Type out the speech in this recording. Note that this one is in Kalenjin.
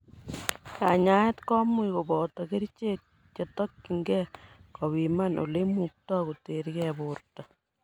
Kanyaet komuch koboto kerichek chetokyingei kopiman ileimukto koterkei borto.